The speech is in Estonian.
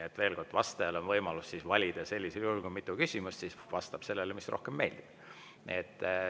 Vastajal on sellisel juhul võimalus valida – kui on mitu küsimust, siis ta võib vastata sellele, mis rohkem meeldib.